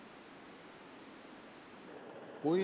ਕੋਈ,